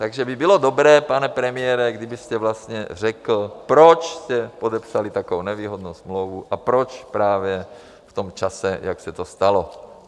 Takže by bylo dobré, pane premiére, kdybyste vlastně řekl, proč jste podepsali takovou nevýhodnou smlouvu a proč právě v tom čase, jak se to stalo.